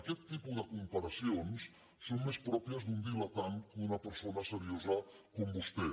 aquest tipus de comparacions són més pròpies d’un diletant que d’una persona seriosa com vostè